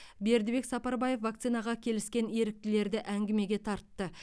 бердібек сапарбаев вакцинацияға келіскен еріктілерді әңгімеге тартты